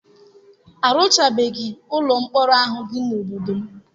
Arụchabeghị ụlọ mkpọrọ ahụ dị n'obodo m.